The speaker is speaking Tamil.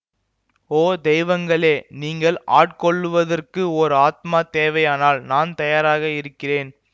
ஓ தெய்வங்களே நீங்கள் ஆட்கொள்ளுவதற்கு ஒரு ஆத்மா தேவையானால் நான் தயாராக இருக்கிறேன்